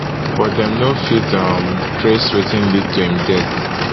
but dem no fit um trace wetin lead to im death